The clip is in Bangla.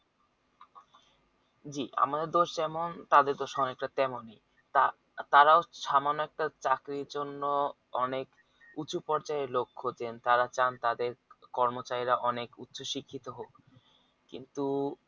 জি আমাদের যেমন তাদের তো তেমনি তারা তারাও সামান্য একটা চাকরির জন্য অনেক উচু পর্যায়ের লোক হচ্ছেন তারা চান তাদের কর্মচারিরা অনেক উচ্চশিক্ষিত হোক কিন্তু